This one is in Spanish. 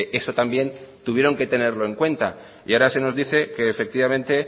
eso también tuvieron que tenerlo en cuenta y ahora se nos dice que efectivamente